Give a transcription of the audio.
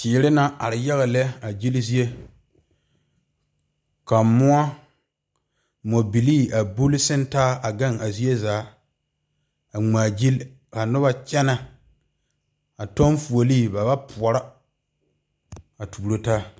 Teere naŋ are yaga lɛ a gyile zie ka moɔ moɔ bile a buli santaa a gaŋ a zie zaa a ŋmaa gyile ka noba kyɛne a kyɔŋ fuule ba wa pɔrɔ a tuuro taa.